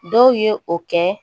Dɔw ye o kɛ